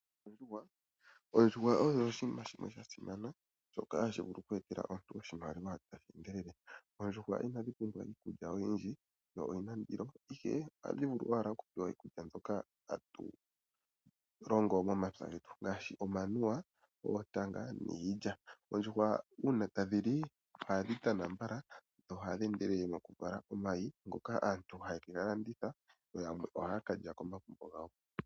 Ondjuhwa, ondjuhwa osho oshinima shimwe shoka sha simana, tashi vulu oke etela imuntu oshimaliwa tashi endelele. Oondjuhwa inadhi pumbwa iikulya oyindji, ihe ohadhi vulu oku pewa iikulya mbyoka tatu longo momapya getu ngashi omanuwa, oontanga niilya. Oondjuhwa uuna tadhi li, ohadhi tana mbaka dhi tadhi cala omayi ngoka asnt haya ka landitha.